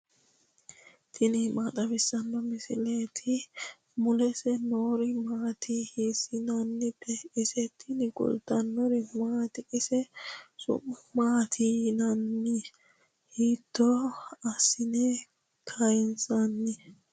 tini maa xawissanno misileeti ? mulese noori maati ? hiissinannite ise ? tini kultannori maati? isi su'ma maatti yinnanni? hiitto asine kayiinsoonni?